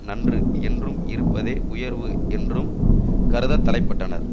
நன்று என்றும் இருப்பதே உயர்வு என்றும் கருதத்தலைப்பட்டனர்